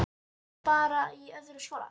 Hún var bara í öðrum skónum.